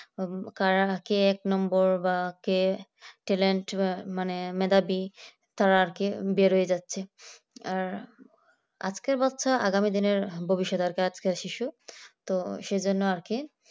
কারাকে এক নম্বর বা কে talent বা মানে মেধাবী তারা কি বের হয়ে যাচ্ছে আর আজকের বাচ্চা আগামী দিনের ভবিষ্যতের দরকার আর শিশু তো সেই জন্য আর কি